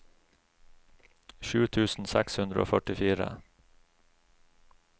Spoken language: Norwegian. sju tusen seks hundre og førtifire